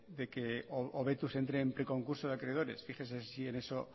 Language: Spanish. de que hobetuz entre en preconcurso de acreedores fíjese si en eso